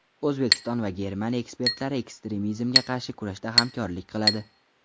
O‘zbekiston va Germaniya ekspertlari ekstremizmga qarshi kurashda hamkorlik qiladi.